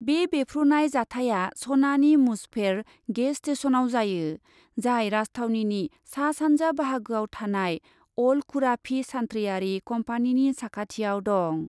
बे बेफ्रुनाय जाथाया सनानि मुजफेर गेस स्टेश'नाव जायो, जाय राजथावनिनि सा सानजा बाहागोआव थानाय अल खुराफि सान्थ्रियारि कम्पानिनि साखाथियाव दं।